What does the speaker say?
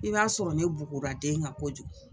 I b'a sɔrɔ ne bugura den kan kojugu